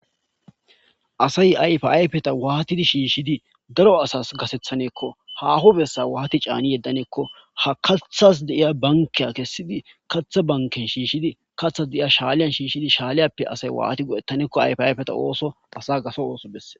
asay ayfayfeta waatidi shiishshidi daro asas gasethaneekko haho bessa waati caani yeddaneekko ha kathas deiya bankeya kessidi katha banken shiishshidi kathas deiya shaaliyan shiishshidi shaaliyappe asay waati godettaneekko ayf ayfeta ooso asa gaso ooso besse